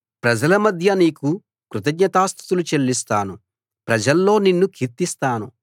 ప్రజలమధ్య నీకు కృతజ్ఞతాస్తుతులు చెల్లిస్తాను ప్రజల్లో నిన్ను కీర్తిస్తాను